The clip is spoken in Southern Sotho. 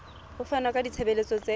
ho fana ka ditshebeletso tse